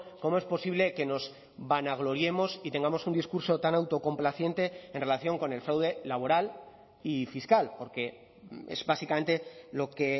cómo es posible que nos vanagloriemos y tengamos un discurso tan autocomplaciente en relación con el fraude laboral y fiscal porque es básicamente lo que he